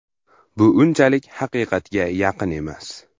Bu unchalik haqiqatga yaqin emas.